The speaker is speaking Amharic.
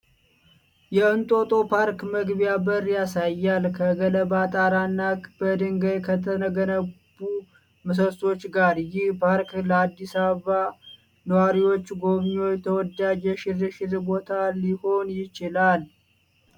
የ"እንጦጦ ፓርክ" መግቢያ በርን ያሳያል፤ ከገለባ ጣራ እና በድንጋይ ከተገነቡ ምሰሶዎች ጋር። ይህ ፓርክ ለአዲስ አበባ ነዋሪዎችና ጎብኚዎች ተወዳጅ የሽርሽር ቦታ ሊሆን ይችላል?